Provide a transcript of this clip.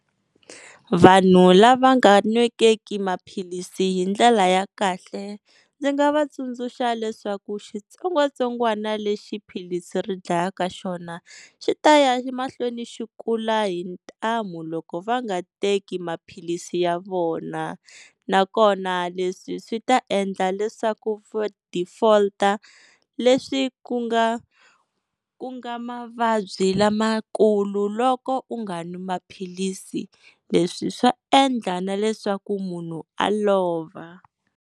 Vanhu lava nga n'wekeki maphilisi hi ndlela ya kahle, ndzi nga vatsundzuxa leswaku xitsongwatsongwana lexi philisi ri dlayaka xona xi ta ya mahlweni xi kula hi ntamu loko va nga teki maphilisi ya vona. Na kona leswi swi ta endla leswaku va default-a leswi ku nga ku nga mavabyi lamakulu loko u nga n'wi maphilisi, leswi swa endla na leswaku munhu a lova.